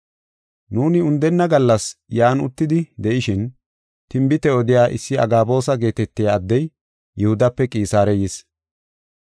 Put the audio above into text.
Nuuni undenna gallas yan uttidi de7ishin tinbite odiya issi Agaboosa geetetiya addey Yihudape Qisaare yis.